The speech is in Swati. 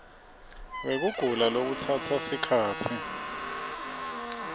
wekugula lokutsatsa sikhatsi